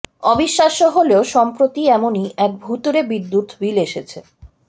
অবিশ্বাস্য হলেও সম্প্রতি এমনই এক ভুতুড়ে বিদ্যুৎ বিল এসেছে